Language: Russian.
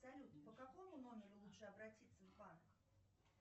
салют по какому номеру лучше обратиться в банк